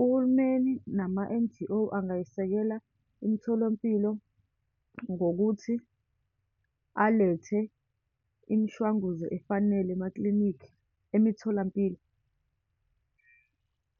Uhulumeni nama-N_G_O, angayisekela imitholampilo ngokuthi alethe imishwanguzo efanale emaklinikhi, emitholampilo